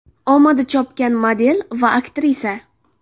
Omadi chopgan model va aktrisa.